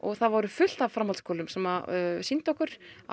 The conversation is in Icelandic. það voru fullt af framhaldsskólum sem sýndu okkur á